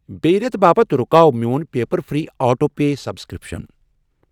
بیٚیہِ رٮ۪تہٕ باپتھ رُکاو میوٚن paper free auto pay subscription.